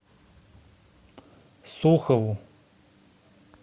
сухову